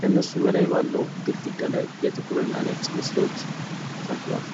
ከእነሱ በላይ ባለው ግድግዳ ላይ የጥቁርና ነጭ ምስሎች ተሰቅለዋል።